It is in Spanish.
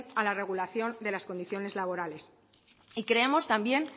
a la regularización de las condiciones laborales y creemos también